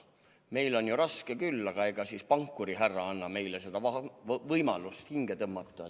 Meil on ju raske küll, aga pankurihärra annab meile võimaluse hinge tõmmata.